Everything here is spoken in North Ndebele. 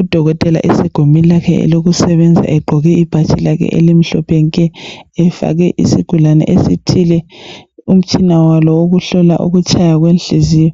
Udokotela esegumeni lakhe lokusebenza egqoke ibhatshi lakhe elimhlophe nke efake isigulane esithile umtshina walo wokuhlola inhliziyo